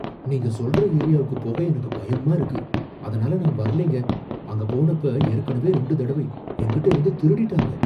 நீங்க சொல்ற ஏரியாக்குப் போக எனக்கு பயமா இருக்கு. அதனால நான் வரலைங்க. அங்க போனப்போ ஏற்கனவே ரெண்டு தடவை என்கிட்ட இருந்து திருடிட்டாங்க.